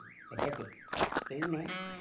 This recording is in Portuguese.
É quer dizer, quem, né?